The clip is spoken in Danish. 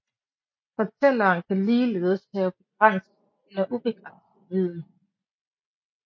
Fortælleren kan ligeledes have begrænset eller ubegrænset viden